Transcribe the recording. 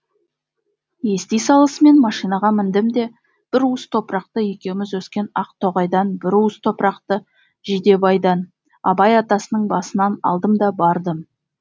ести салысымен машинаға міндім де бір уыс топырақты екеуміз өскен ақтоғайдан бір уыс топырақты жидебайдан абай атасының басынан алдым да бардым